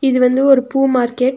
இது வந்து ஒரு பூ மார்க்கெட் .